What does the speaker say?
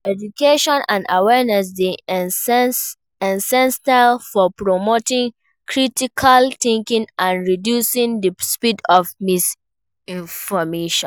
Education and awareness dey essential for promoting critical thinking and reducing di spread of misinformation.